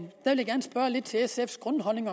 egentlig til sfs grundholdning